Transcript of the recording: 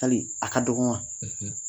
Yali a ka dɔgɔ wa